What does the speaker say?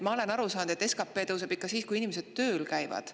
Ma olen aru saanud, et SKP tõuseb ikka siis, kui inimesed tööl käivad.